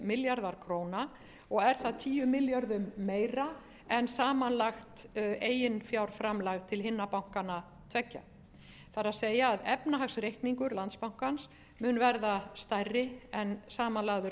milljarðar króna og er það tíu milljörðum meira en samanlagt eiginfjárframlag til hinna bankana tveggja það er að efnahagsreikningur landsbankans mun verða stærri en samanlagður